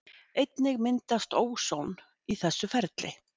Einnig myndast óson í þessu ferli.